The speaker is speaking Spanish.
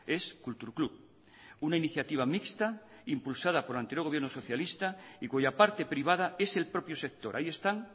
es kultur klub una iniciativa mixta impulsada por el anterior gobierno socialista y cuya parte privada es el propio sector ahí están